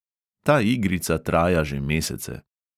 Ta igrica traja že mesece.